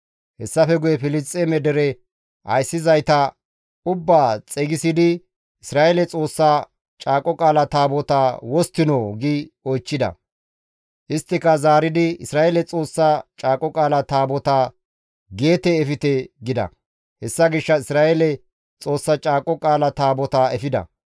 Hessafe guye Filisxeeme dere ayssizayta ubbaa xeygisidi «Isra7eele Xoossa Caaqo Qaala Taabotaa wosttinoo?» gi oychchida. Isttika zaaridi, «Isra7eele Xoossa Caaqo Qaala Taabotaa Geete efte» gida. Hessa gishshas Isra7eele Xoossa Caaqo Qaala Taabotaa efida.